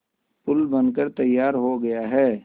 पुल बनकर तैयार हो गया है